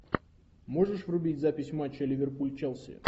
можешь врубить запись матча ливерпуль челси